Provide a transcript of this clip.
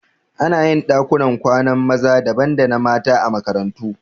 Anayin ɗakunan kwanan maza daban da na mata a makarantu